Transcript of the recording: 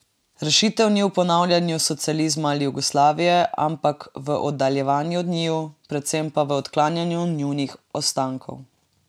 Rešitev ni v ponavljanju socializma ali Jugoslavije, ampak v oddaljevanju od njiju, predvsem pa v odklanjanju njunih ostankov.